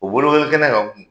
U bolokoli kɛnɛ kan